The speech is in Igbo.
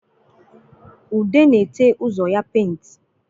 Ude na-ete ụzọ ya paint